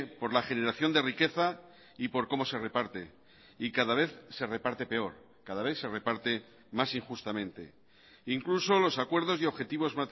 por la generación de riqueza y por como se reparte y cada vez se reparte peor cada vez se reparte más injustamente e incluso los acuerdos y objetivos